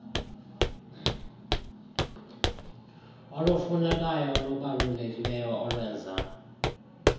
olufunekayo olubalulekileyo olwenza